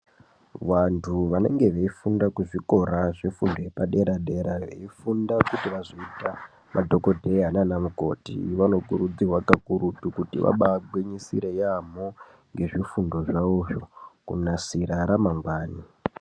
Vantu vanenge veifunda kuzvikora zvefundo yepadera-dera, veifunda kuti vazoita madhokodheya nana mukoti. Vanokurudzirwa kakurutu kuti vabagwinyisire yaamho ngezvifundo zvavozvo kunasira ramangwani.